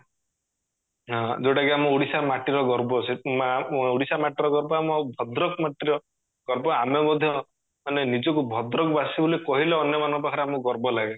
ଯୋଉଟା କି ଆମ ଓଡିଶା ମାଟିର ଗର୍ବ ମା ଓଡିଶା ମାଟିର ଗର୍ବ ଆମ ଭଦ୍ରକ ମାଟିର ଗର୍ବ ଆମେ ମଧ୍ୟ ମାନେ ନିଜକୁ ଭଦ୍ରକ ବାସୀ ବୋଲି କହିଲେ ଅନ୍ୟ ମାନଙ୍କ ପାଖରେ ଆମକୁ ଗର୍ବ ଲାଗେ